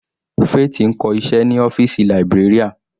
Faith ń kọ́ iṣẹ́ ní ọ́fìsì librarian.